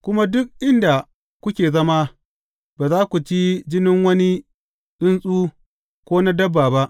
Kuma duk inda kuke zama, ba za ku ci jinin wani tsuntsu ko na dabba ba.